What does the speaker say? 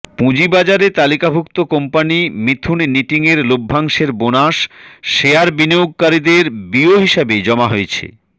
পুঁজিবাজারে তালিকাভুক্ত কোম্পানি মিথুন নিটিংয়ের লভ্যাংশের বোনাস শেয়ার বিনিয়োগকারীদের বিও হিসাবে জমা হয়েছে